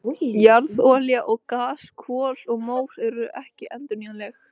Jarðolía og gas, kol og mór eru ekki endurnýjanleg.